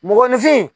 Mɔgɔninfin